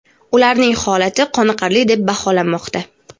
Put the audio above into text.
ularning holati qoniqarli deb baholanmoqda.